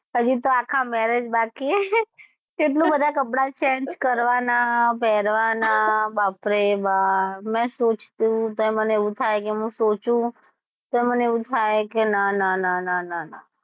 હજી તો આખા marriage બાકી છે કેટલા બધા કપડાં change કરવાના પેરવાના બાપરે બાપ મસ્ત મે સોચું તો મને એવું થાય કે મે સોચું તો મને એવું થાય કે ના ના ના ના ના,